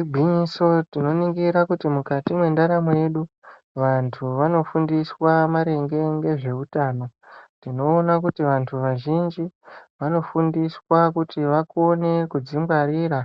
Igwinyiso tinoningira kuti mukati mwendaramo yedu vantu vanofundiswa maringe ngezveutano, tinoona kuti vantu vazhinji vanofundiswa kuti vakone kudzingwarira